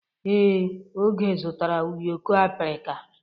Ee, Oge zụtara ụyọkọ abirika.